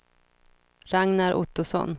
Ragnar Ottosson